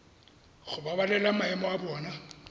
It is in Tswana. go babalela maemo a bona